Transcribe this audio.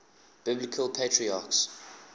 biblical patriarchs